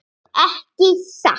Ekki satt.